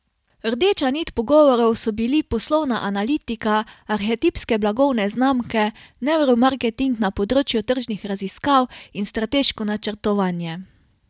Rdeča nit pogovorov so bili poslovna analitika, arhetipske blagovne znamke, nevromarketing na področju tržnih raziskav in strateško načrtovanje.